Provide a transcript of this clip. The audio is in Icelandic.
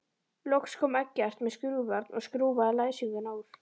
Loks kom Eggert með skrúfjárn og skrúfaði læsinguna úr.